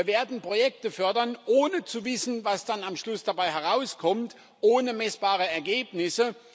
Wir werden Projekte fördern, ohne zu wissen, was dann am Schluss dabei herauskommt, ohne messbare Ergebnisse.